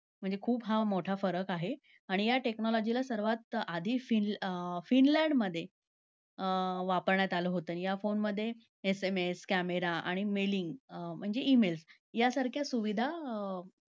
म्हणजे खूप हा मोठा फरक आहे. आणि या technology ला सर्वात आधी फिनलँडमध्ये अं वापरण्यात आलं होतं. या phone मध्ये SMS camera आणि mailing म्हणजे e-mail यांसारख्या सुविधा अं